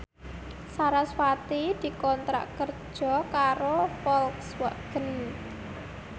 sarasvati dikontrak kerja karo Volkswagen